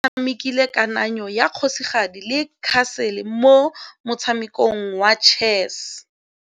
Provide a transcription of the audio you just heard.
Oratile o tshamekile kananyô ya kgosigadi le khasêlê mo motshamekong wa chess.